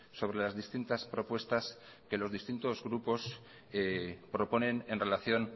sobre las distintas propuestas que los distintos grupos proponen en relación